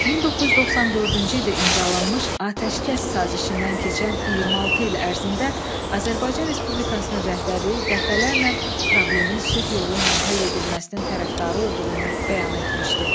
1994-cü ildə imzalanmış atəşkəs sazişindən keçən 26 il ərzində Azərbaycan Respublikasının rəhbərliyi dəfələrlə problemin sülh yolu ilə həll edilməsinin tərəfdarı olduğunu bəyan etmişdi.